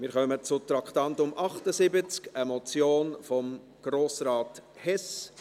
Wir kommen zum Traktandum 78, einer Motion von Grossrat Hess: